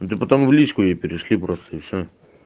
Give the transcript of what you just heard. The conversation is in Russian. ну ты потом в личку ей перешли просто и все